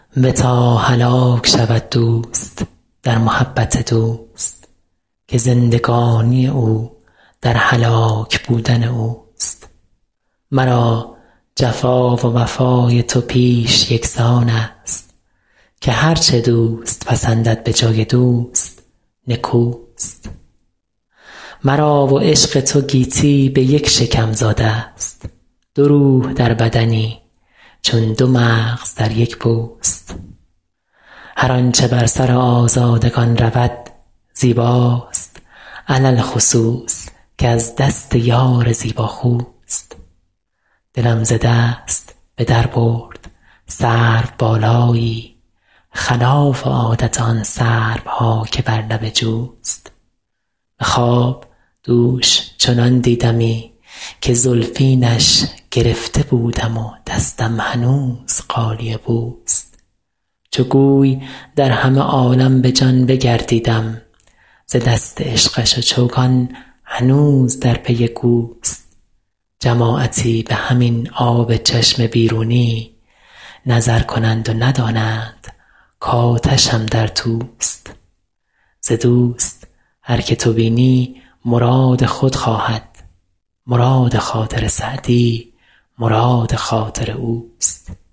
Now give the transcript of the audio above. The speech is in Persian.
بتا هلاک شود دوست در محبت دوست که زندگانی او در هلاک بودن اوست مرا جفا و وفای تو پیش یکسان است که هر چه دوست پسندد به جای دوست نکوست مرا و عشق تو گیتی به یک شکم زاده ست دو روح در بدنی چون دو مغز در یک پوست هر آنچه بر سر آزادگان رود زیباست علی الخصوص که از دست یار زیباخوست دلم ز دست به در برد سروبالایی خلاف عادت آن سروها که بر لب جوست به خواب دوش چنان دیدمی که زلفینش گرفته بودم و دستم هنوز غالیه بوست چو گوی در همه عالم به جان بگردیدم ز دست عشقش و چوگان هنوز در پی گوست جماعتی به همین آب چشم بیرونی نظر کنند و ندانند کآتشم در توست ز دوست هر که تو بینی مراد خود خواهد مراد خاطر سعدی مراد خاطر اوست